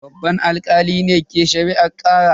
Babban alkalin ne ke shari'ar karar.